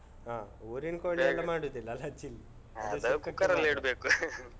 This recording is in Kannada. ಹ ಊರಿನ್ ಕೋಳಿಯಲೆಲ್ಲ ಮಾಡುದಿಲ್ಲ ಅಲ್ಲಾ chilli ?. ಅದು cooker ಅಲ್ಲಿ ಇಡ್ಬೇಕು .